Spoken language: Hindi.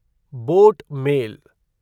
boat mail